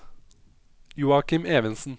Joakim Evensen